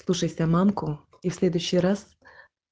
слушайся мамку и в следующий раз